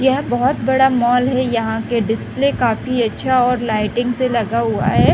यह बहुत बड़ा मॉल है यहाँ के डिस्प्ले काफी अच्छा और लाइटिंग से लगा हुआ है।